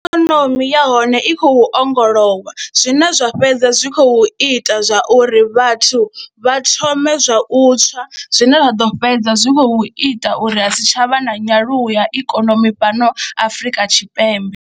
Ikonomi ya hone i khou ongolowa zwine zwa fhedza zwi khou ita zwa uri vhathu vha thome zwa u tswa zwine zwa ḓo fhedza zwi khou ita uri ha si tsha vha na nyaluwo ya ikonomi fhano Afrika Tshipembe.